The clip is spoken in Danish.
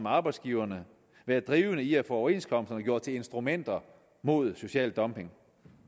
arbejdsgiverne været drivende i at få overenskomsterne gjort til instrumenter mod social dumping